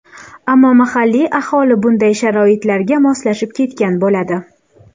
Ammo mahalliy aholi bunday sharoitlarga moslashib ketgan bo‘ladi.